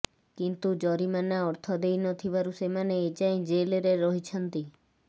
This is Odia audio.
କିନ୍ତୁ ଜରିମାନା ଅର୍ଥ ଦେଇ ନଥିବାରୁ ସେମାନେ ଏଯାଏ ଜେଲ୍ରେ ରହିଛନ୍ତି